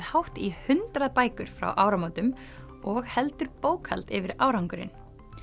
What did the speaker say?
hátt í hundrað bækur frá áramótum og heldur bókhald yfir árangurinn